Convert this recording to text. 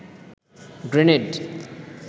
grenade